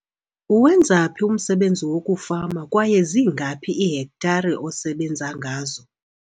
Uwenza phi umsebenzi wokufama kwaye zingaphi iihektare osebenza ngazo?